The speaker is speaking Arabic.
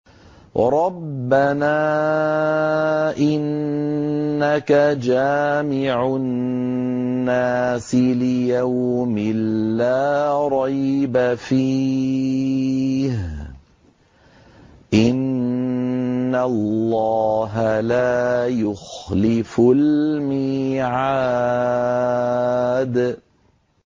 رَبَّنَا إِنَّكَ جَامِعُ النَّاسِ لِيَوْمٍ لَّا رَيْبَ فِيهِ ۚ إِنَّ اللَّهَ لَا يُخْلِفُ الْمِيعَادَ